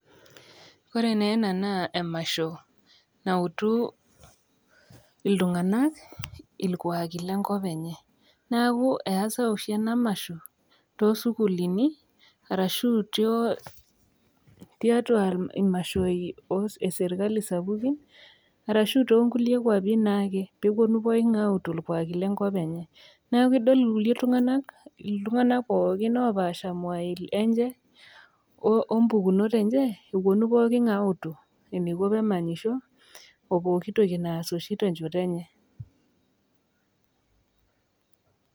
ore naa ena naa emasho, nautu iltung'anak ilkuuaki le nkop enye. neaku easa oshi ena masho, too sukuulini arashu tiatua imashoi ee sirkali sapukin, arashu too nkulie nkuapi naake pee epuonu pooking'ae autu irkuaki le nkop enye neaku idol irkulie tung'anak, iltung'anak pookin oopaasha imwai enye o mpukunot enye, epuonu pooki ng'ae autu eneiko pee emanyisho oo pooki toki oshi naas te nchoto enye.